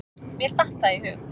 Mér datt það í hug.